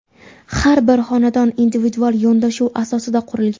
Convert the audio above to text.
Har bir xonadon individual yondashuv asosida qurilgan.